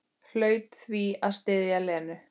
Hlaut því að styðja Lenu.